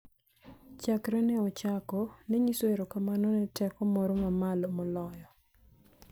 chakre ne ochako, ne nyiso erokamano ne teko moro ma malo moloyo,